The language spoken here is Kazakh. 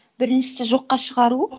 біріншісі жоққа шығару